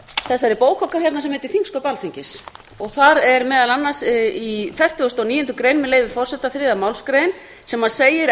þessari bók okkar hérna sem heitir þingsköp alþingis þar er meðal annars í fertugustu og níundu grein með leyfi forseta þriðju málsgrein sem segir